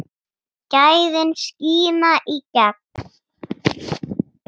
Gæðin skína í gegn.